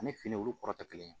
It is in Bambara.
Ani fini olu kɔrɔ tɛ kelen ye